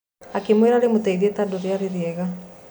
Akĩrĩra rĩmũteithie tondu rĩarĩ rĩega.